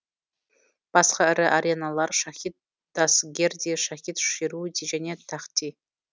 басқа ірі ареналар шахид дастгерди шахид шируди және тахти